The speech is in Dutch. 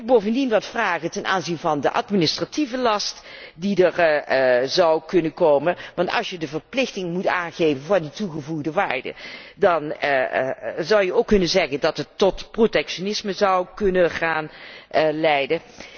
Ik heb bovendien wat vragen ten aanzien van de administratieve last die er zou kunnen komen. Want als je de verplichting moet aangeven van die toegevoegde waarde, dan zou je ook kunnen zeggen dat het tot protectionisme kan gaan leiden.